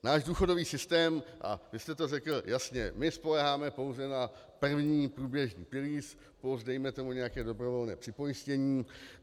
Náš důchodový systém, a vy jste to řekl jasně, my spoléháme pouze na první průběžný pilíř plus dejme tomu nějaké dobrovolné připojištění.